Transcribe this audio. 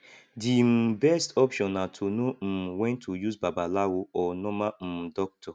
di um best option na to know um when to use babalawo or normal um doctor